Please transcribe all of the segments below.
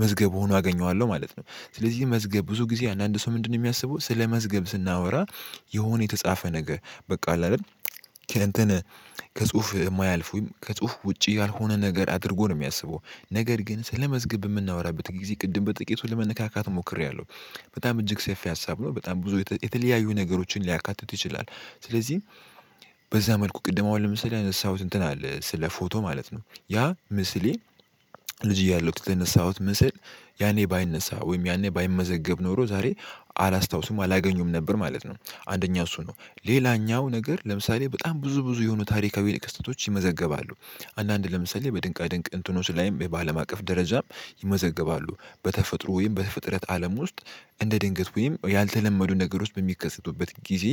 መዝገብ ሆኖ አገኘዋለሁ ማለት ነው። ስለዚህ መዝገብ ብዙ ጊዜ አንዳንድ ሰው ምንድነው የሚያስበው ስለመዝገብ ስናወራ የሆነ የተጻፈ ነገር በቃ አይደል? ከእንትን ከጽሁፍ የማያልፍ ወይም ከጽሁፍ ውጪ ያልሆነ ነገር አድርጎ ነው የሚያስበው። ነገር ግን ስለመዝገብ የምናወራበት ጊዜ ቅድም በጥቂቱ ለመነካካት ሞክሬያለሁ። በጣም እጅግ ሰፊ ሀሳብ ነው በጣም ብዙ የተለያየ ነገሮችን ሊያካትት ይችላል። ስለዚህ በዛ መልኩ ቅድም አሁን ለምሳሌ ያነሳሁት እንትን አለ ስለ ፎቶ ማለት ነው ያ ምስሌ። ልጅ እያለሁት ተነሳሁት ምስል ያኔ ባይነሳ ወይም ያኔ ባይመዘገብ ኖሮ ዛሬ አላስታውስም አላገኙም ነበር ማለት ነው። አንደኛው እሱ ነው። ሌላኛው ነገር ለምሳሌ በጣም ብዙ ብዙ የሆኑ ታሪካዊ ልክ ስቶች ይመዘገባሉ። አንዳንድ ለምሳሌ በድንቅ ድንቅ እንትኖች ላይም የባለማቀፍ ደረጃም ይመዘገባሉ በተፈጥሮ ወይም በተፈጥረተ አለም ውስጥ እንደ ድንገት ወይም ያልተለመዱ ነገሮች በሚከሰቱበት ጊዜ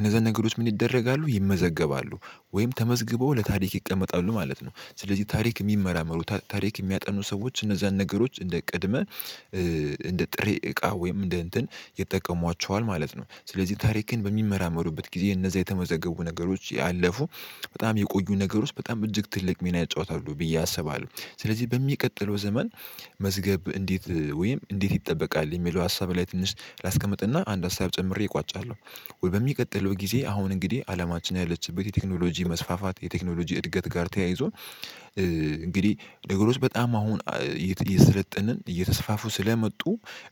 እነዛ ነገሮች ምን ይደረጋሉ ይመዘገባሉ? ወይም ተመዝግበው ለታሪክ ይቀመጣሉ ማለት ነው። ስለዚህ ታሪክ የሚመራመሩ ታሪክ የሚያጠኑ ሰዎች እነዛን ነገሮች እንደ ቅድመ እንደ ጥሬ እቃ ወይም እንደ እንትን ይጠቀሟቸዋል ማለት ነው። ስለዚህ ታሪክን በሚመራመሩበት ጊዜ እነዛ የተመዘገቡ ነገሮች ያለፉ በጣም የቆዩ ነገር ውስጥ በጣም እጅግ ትልቅ ሜና ያጫወታሉ ብዬ አስባለሁ። ስለዚህ በሚቀጥለው ዘመን መዝገብ እንዴት ወይም እንዴት ይጠበቃል የሚለው ሀሳብ ላይ ትንሽ ላስቀምጥና አንድ ሀሳብ ጨምሬ እቋጫለሁ። ወይ በሚቀጥለው ጊዜ አሁን እንግዲህ አለማችን ያለችበት የቴክኖሎጂ መስፋፋት የቴክኖሎጂ እድገት ጋር ተያይዞ እንግዲህ ነገሮች በጣም አሁን እየሰለጠንን እየተስፋፉ ስለመጡ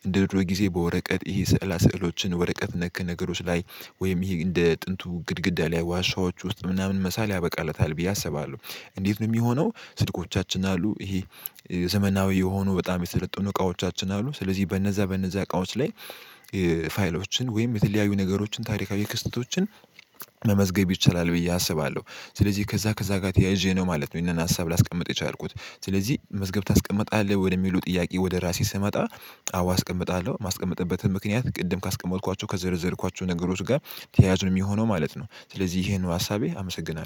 እንደውድሮ ጊዜ በወረቀት ይሄ ስዕላ ስዕሎችን ወረቀት ነክ ነገሮች ላይ ወይም ይሄ እንደ ጥንቱ ግድግዳ ላይ ዋሻዎች ውስጥ ምናምን መሳል ያበቃለታል ብዬ አስባለሁ። እንዴት ነው የሚሆነው? ስልኮቻችን አሉ ይሄ ዘመናዊ የሆኑ በጣም የተሰለጡ እቃዎቻችን አሉ ስለዚህ በነዛ በነዛ እቃዎች ላይ ፋይሎችን ወይም የተለያዩ ነገሮችን ታሪካዊ ክስተቶችን መመዝገብ ይቻላል ብዬ አስባለሁ። ስለዚህ ከዛ ከዛ ጋር ተያይዤ ነው ማለት ነው ይሄንን ሀሳብ ላስቀምጥ የቻልኩት። ስለዚህ መዝገብ ታስቀምጣለህ ወደሚሉ ጥያቄ ወደ ራሴ ስመጣ አዎ አስቀምጣለሁ። የማስቀምጥበትም ምክንያት ቅድም ካስቀመጥኳቸው ከዘረዘርኳቸው ነገሮች ጋር ተያያዝ ነው የሚሆነው ማለት ነው። ስለዚህ ይሄን ሀሳቤ አመሰግናለሁ